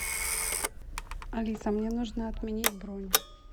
алиса мне нужно отменить бронь